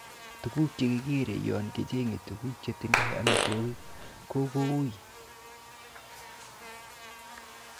Tuguk che kikeere yon kichenge tuguk chetindo amitwogik ko kou.